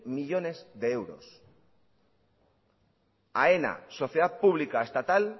millónes de euros aena sociedad pública estatal